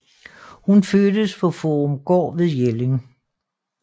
Hun fødtes på Faarupgaard ved Jelling